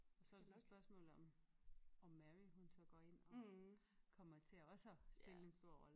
Og så det så spørgsmålet om om Mary hun så går ind og kommer til også at spille en stor rolle